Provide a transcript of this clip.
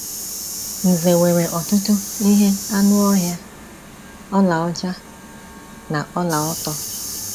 Ǹzè nwere ọtụtụ ìhè anụ̀ ọhịa, ọlaọcha, na ọlaọ̀tọ́.